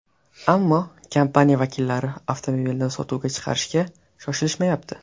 Ammo kompaniya vakillari avtomobilni sotuvga chiqarishga shoshilishmayapti.